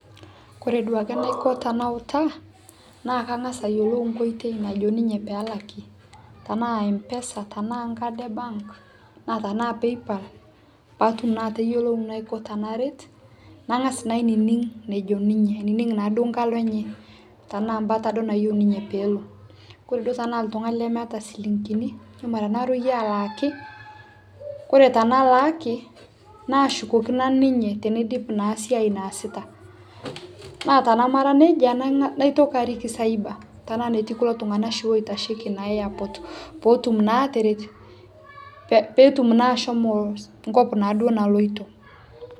kore duake naiko tanautaa naa kangaz ayelou nkoitei najo ninye pelakii tanaa mpesa tanaa nkadi e bank naa tanaa paypal paatum naa ateyolo naiko tanaret nangaz naa ainining nejo ninye aning naa duo nkalo enye tanaa mbataa duo nayie ninye peelo kore duo tanaa ltungani lemeata silinkini ijo mara naroiye alaaki kore tanalaaki nashukoki nanu ninye teneidip naa siai naasita naa tanamara neja naitoki arik cyber tanaa neti shi kulo tungana loitashekii naa airport pootum naa ateret peetum naa ashomo nkop naaduo naloito